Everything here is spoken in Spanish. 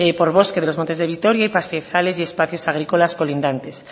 por bosques de los montes de vitoria y pastizales y espacios agrícolas colindantes